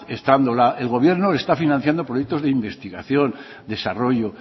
estando el gobierno está financiando proyectos de investigación desarrollo